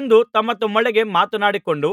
ಎಂದು ತಮ್ಮತಮ್ಮೊಳಗೆ ಮಾತನಾಡಿಕೊಂಡು